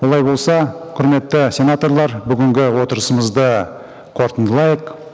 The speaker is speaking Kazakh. олай болса құрметті сенаторлар бүгінгі отырысымызды қорытындылайық